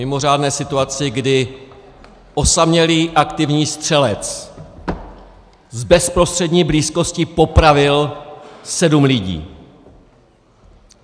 Mimořádné situaci, kdy osamělý aktivní střelec z bezprostřední blízkosti popravil sedm lidí.